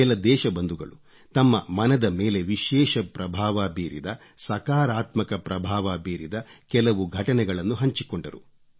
ಕೆಲ ದೇಶಬಂಧುಗಳು ತಮ್ಮ ಮನದ ಮೇಲೆ ವಿಶೇಷ ಪ್ರಭಾವ ಬೀರಿದ ಸಕಾರಾತ್ಮಕ ಪ್ರಭಾವ ಬೀರಿದ ಕೆಲವು ಘಟನೆಗಳನ್ನು ಹಂಚಿಕೊಂಡರು